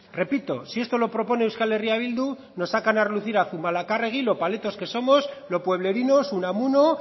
repito si esto lo propone euskal herria bildu nos sacan a relucir a zumalacarregui lo paletos que somos lo pueblerinos unamuno